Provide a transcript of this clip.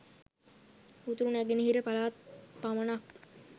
උතුර නැගෙනහිර පළාත් පමණක්